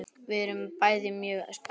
Við erum bæði mjög spennt.